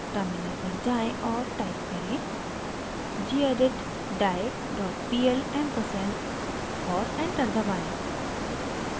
terminal पर जाएँ और टाइप करें: gedit die dot pl ampersand और एंटर दबाएं